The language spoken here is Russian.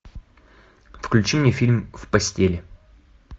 включи мне фильм в постели